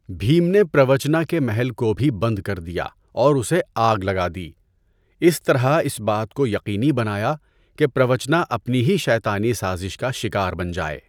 بھیم نے پروچنا کے محل کو بھی بند کر دیا اور اسے آگ لگا دی، اس طرح اس بات کو یقینی بنایا کہ پروچنا اپنی ہی شیطانی سازش کا شکار بن جائے۔